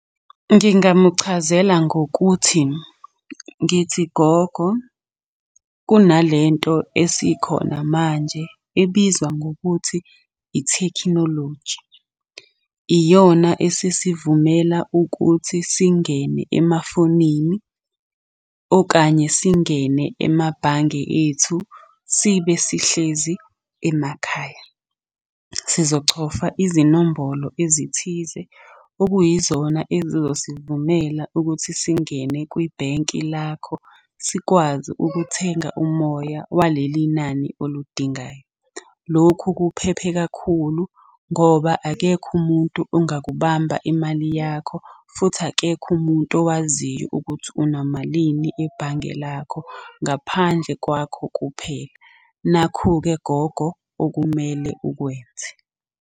Ngingamuchazela ngokuthi, ngithi gogo kunalento esikhona manje ebizwa ngokuthi ithekhinoloji. Iyona esesivumela ukuthi singene emafonini, okanye singene emabhange ethu sibe sihlezi emakhaya. Sizochofa izinombholo ezithize okuyizona ezizosivumela ukuthi singene kwibhenki lakho, sikwazi ukuthenga umoya waleli nani oludingayo. Lokhu kuphephe kakhulu ngoba akekho umuntu ongaku kubamba imali yakho futhi akekho umuntu owaziyo ukuthi unamalini ebhange lakho, ngaphandle kwakho kuphela. Nakhu-ke gogo okumele ukwenze.